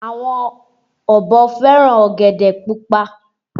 Àwọn ọ̀bọ fẹ́ràn ọ̀gẹ̀dẹ̀ pupa